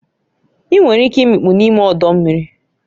Ị nwere ike imikpu n'ime ọdọ mmiri